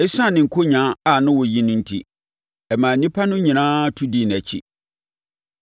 Esiane ne nkonyaa a na ɔyi no enti, ɛmaa nnipa no nyinaa tu dii nʼakyi.